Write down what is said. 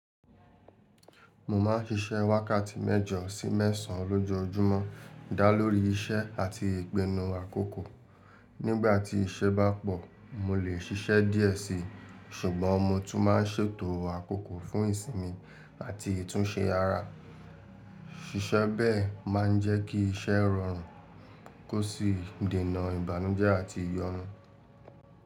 Mo máa ń ṣiṣẹ́ wákàtí mẹ́jọ sí mẹ́sàn-án lójoojúmọ́, dá lórí iṣẹ́ àti ìgbènu àkókò. Nígbà tí iṣẹ́ bá pọ̀, mo lè ṣiṣẹ́ díẹ̀ síi, ṣùgbọ́n mo tún máa ń ṣètò àkókò fún ìsimi àti ìtúnsẹ́ ara. Ṣiṣẹ́ bẹ́è máa ń jẹ́ kí iṣẹ́ rọrùn, kó sì dènà ìbánujẹ́ àti ìyọnu.